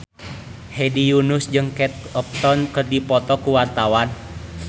Hedi Yunus jeung Kate Upton keur dipoto ku wartawan